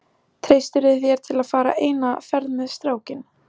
Treystirðu þér til að fara eina ferð með strákinn?